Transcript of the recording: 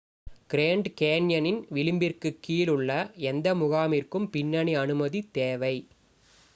grand கேன்யனின் விளிம்பிற்குக் கீழ் உள்ள எந்த முகாமிற்கும் பின்னணி அனுமதி தேவை